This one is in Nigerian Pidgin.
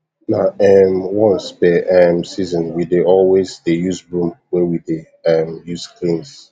na um once per um season we dey always dey use broom wey we dey um use cleans